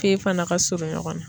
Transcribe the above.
Fe fana ka surun ɲɔgɔn na.